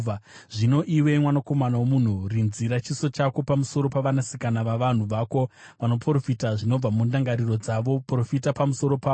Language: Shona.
“Zvino, iwe mwanakomana womunhu, rinzira chiso chako pamusoro pavanasikana vavanhu vako vanoprofita zvinobva mundangariro dzavo. Profita pamusoro pavo,